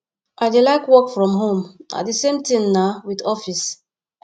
i dey like work from home na the same thing naa with office